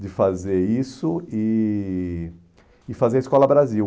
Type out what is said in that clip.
de fazer isso e e fazer a Escola Brasil.